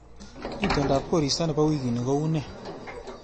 Itondap koristo nebo wiikini ko une